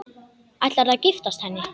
Ætlarðu að giftast henni?